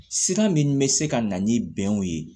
Sira min bɛ se ka na ni bɛnw ye